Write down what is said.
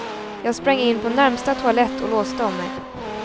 Jag sprang in på närmsta toalett och låste om mig.